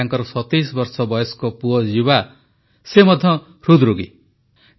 ତାଙ୍କର 27 ବର୍ଷ ବୟସ୍କ ପୁଅ ଜୀବା ମଧ୍ୟ ହୃଦରୋଗୀ ଥିଲା